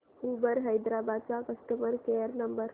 Uber Hyderabad चा customer care number